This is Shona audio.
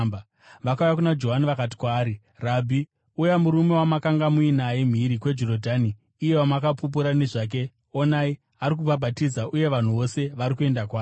Vakauya kuna Johani vakati kwaari, “Rabhi, uya murume wamakanga muinaye mhiri kwaJorodhani, iye wamakapupura nezvake, onai, ari kubhabhatidza, uye vanhu vose vari kuenda kwaari.”